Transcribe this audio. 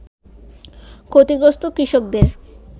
ক্ষতিগ্রস্ত কৃষকদের